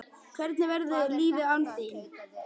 Hvernig verður lífið án þín?